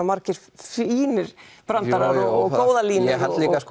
margir fínir brandarar góðar línur ég held líka að